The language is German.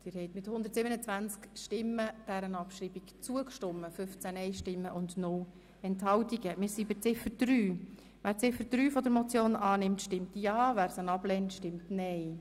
Sie haben der Abschreibung zugestimmt .Wer Ziffer 3 der Motion annimmt, stimmt ja, wer diese ablehnt, stimmt nein.